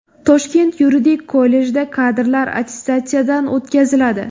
Toshkent yuridik kollejida kadrlar attestatsiyadan o‘tkaziladi.